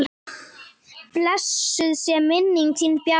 Blessuð sé minning þín Bjarni.